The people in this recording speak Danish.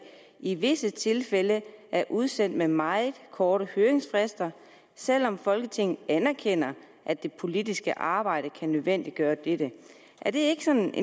i visse tilfælde er udsendt med meget korte høringsfrister selv om folketinget anerkender at det politiske arbejde kan nødvendiggøre dette er det ikke sådan